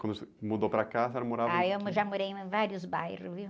Quando se mudou para cá, a senhora morava em que... h, eu já morei em vários bairros, viu?